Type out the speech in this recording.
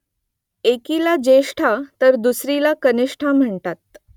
एकीला ज्येष्ठा तर दुसरीला कनिष्ठा म्हणतात